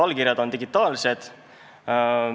Allkirjad on digitaalsed.